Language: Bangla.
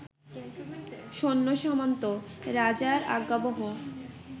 সৈন্য- -সামন্ত রাজার আজ্ঞাবহ